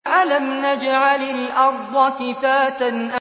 أَلَمْ نَجْعَلِ الْأَرْضَ كِفَاتًا